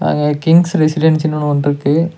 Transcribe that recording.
அங்க கிங்ஸ் ரெசிடென்சினு ஒன்னு வந்துருக்கு.